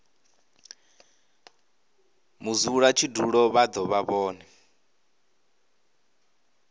mudzulatshidulo vha do vha vhone